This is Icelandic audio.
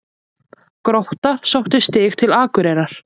Grótta sótti stig til Akureyrar